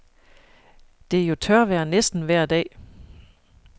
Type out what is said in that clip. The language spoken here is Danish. Det er jo tørvejr næsten vejr dag.